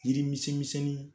Yiri misɛn misɛnni